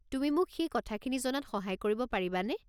তুমি মোক সেই কথাখিনি জনাত সহায় কৰিব পাৰিবানে?